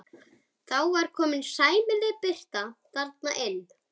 Það var þá komin sæmileg birta þarna inn.